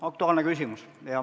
Aktuaalne küsimus.